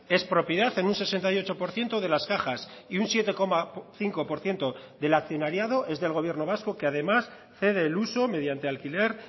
es propiedad en un sesenta y ocho por ciento de las cajas y un siete coma cinco por ciento del accionariado es del gobierno vasco que además cede el uso mediante alquiler